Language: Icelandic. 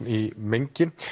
í mengi